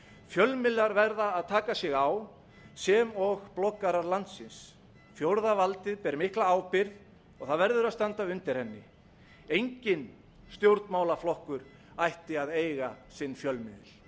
fjölmiðlar verða að taka sig á sem og bloggarar landsins fjórða valdið ber mikla ábyrgð og það verður að standa undir henni enginn stjórnmálaflokkur ætti að eiga sinn fjölmiðil